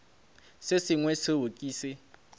se sengwe seo ke se